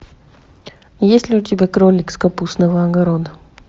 есть ли у тебя кролик с капустного огорода